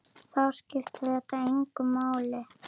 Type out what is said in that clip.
Þá skiptir þetta engu máli.